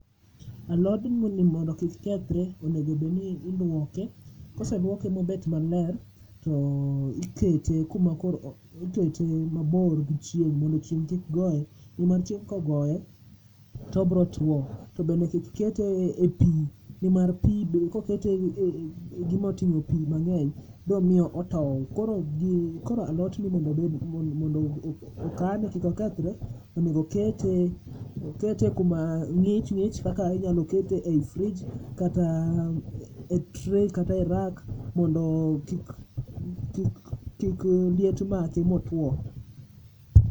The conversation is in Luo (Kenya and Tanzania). alodni mondo kik kethre onego bed ni iluoke ,kose luoke mober maler to ikete mabor gi chieng mondo chieng' kik goye ni wach kogoye to obiro tuo to bende kik kete e pi ni mar pii bende koket e gima otimo pii mang'eny biro miyo otou, koro alot ni mondo okane kik okethre, onego okete kuma ng'ich ng'ich kaka inyalo kete ei fridge kata e tray kata e rack ondo kik liet make otuo.